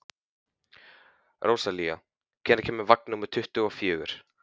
Rósalía, hvenær kemur vagn númer tuttugu og fjögur?